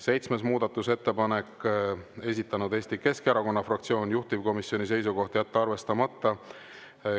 Seitsmes muudatusettepanek, esitanud Eesti Keskerakonna fraktsioon, juhtivkomisjoni seisukoht on jätta arvestamata.